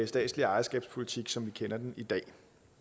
statslige ejerskabspolitik som vi kender den i dag